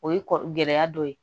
O ye kɔ gɛlɛ dɔ ye